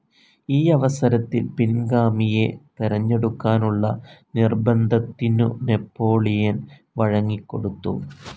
ഈയവസരത്തിൽ പിൻഗാമിയെ തെരഞ്ഞെടുക്കാനുള്ള നിർബന്ധത്തിനു നാപ്പോളിയൻ വഴങ്ങിക്കൊടുത്തു.